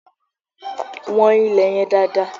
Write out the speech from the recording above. Wọ́n ilè yẹn dáadáa!